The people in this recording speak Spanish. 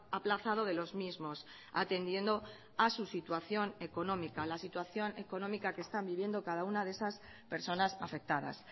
aplazado de los mismos atendiendo a su situación económica la situación económica que están viviendo cada una de esas personas afectadas